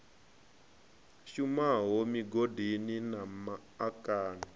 shumaho migodini na ma akani